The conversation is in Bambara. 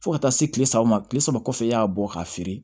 Fo ka taa se kile saba ma kile saba kɔfɛ i y'a bɔ k'a feere